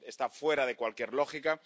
Esto está fuera de cualquier lógica.